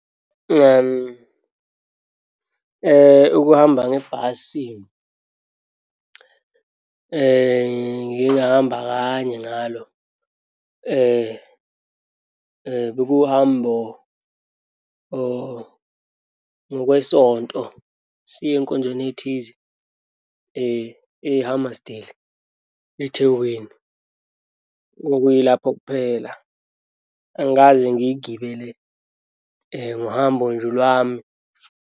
Ukuhamba ngebhasi ngiyengahamba kanye ngalo. Bekuwuhambo ngokwesonto, siye enkonzweni ethize, e-Hammersdale, eThekwini. Okuyilapho kuphela, angikaze ngiyigibele ngohambo nje lwami.